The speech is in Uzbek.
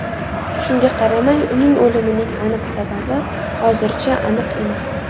Shunga qaramay uning o‘limni aniq sababi hozircha aniq emas.